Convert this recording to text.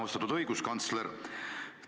Austatud õiguskantsler!